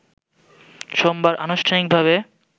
সোমবার আনুষ্ঠানিকভাবে